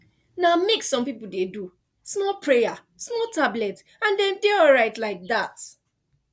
na mix some people dey do small prayer small tablet and dem dey alright like that